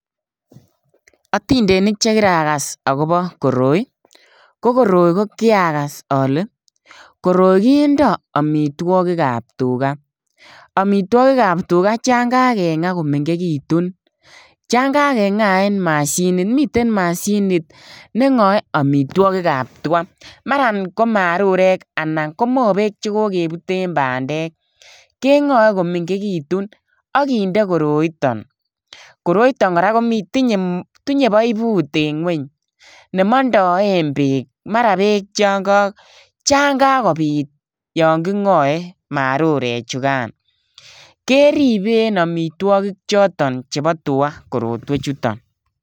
Otindenik chekirakas akobo koroi, ko koroi kokiakas ole koroi kindo omitwokikab tugaa, omitwokikab chon kakengaa komengekitun chin kakengaen mashinit, miten mashinit nengoe omitwokikab twaa maran ko marurek anan komobek chekokebuten bandek, kengoe komengekitun ak kinde koroiton, koroiton koraa kotinye poiput en ngweny chemondoen beek maran beek chon kakobit yon kingoe marurechukan keriben omitwogik choton chebo twaa korotwechuton.